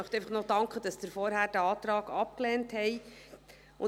Ich möchte einfach dafür danken, dass Sie den vorangehenden Antrag abgelehnt haben.